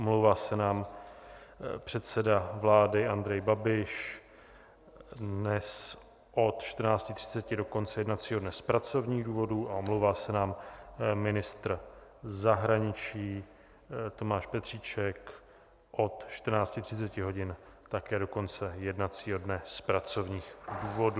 Omlouvá se nám předseda vlády Andrej Babiš dnes od 14.30 do konce jednacího dne z pracovních důvodů a omlouvá se nám ministr zahraničí Tomáš Petříček od 14.30 hodin také do konce jednacího dne z pracovních důvodů.